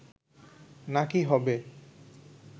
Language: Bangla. নাকি হবে